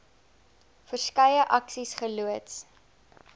verskeie aksies geloods